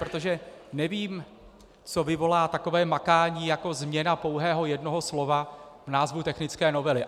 Protože nevím, co vyvolá takové makání jako změna pouhého jednoho slova v názvu technické novely.